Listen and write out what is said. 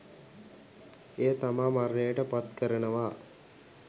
එය තමා මරණයට පත් කරනවා,